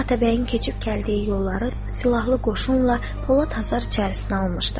O, atabəyin keçib gəldiyi yolları silahlı qoşunla polad həsər içərisinə almışdı.